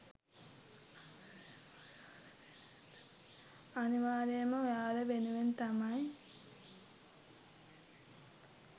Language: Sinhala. අනිවාර්යයෙන්ම ඔයාලා වෙනුවෙන් තමයි